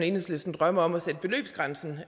enhedslisten drømmer om at sætte beløbsgrænsen